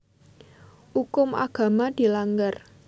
Ukum agama dilanggar